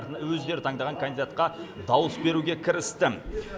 өздері таңдаған кандидатқа дауыс беруге кірісті